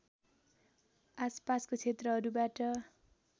आसपासको क्षेत्रहरूबाट